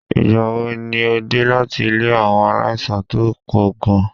Ìgbà wo ni o dé láti ilé àwọn aláìsàn tó pọ̀ gan-an?